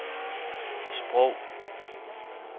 sprog